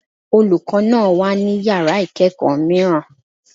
Olùkọ́ náà wà ní Yàrá ìkẹ́ẹ̀kọ̀ mìíràn.